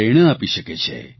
પ્રેરણા આપી શકે છે